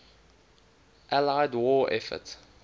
allied war effort